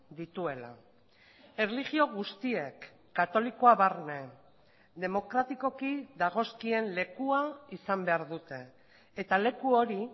dituela erlijio guztiek katolikoa barne demokratikoki dagozkien lekua izan behar dute eta leku hori